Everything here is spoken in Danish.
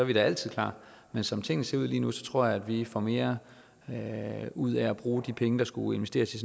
vi da altid klar men som tingene ser ud lige nu tror jeg vi får mere ud af at bruge de penge der skulle investeres i